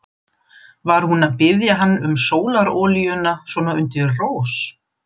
Var hún að biðja hann um sólarolíuna svona undir rós?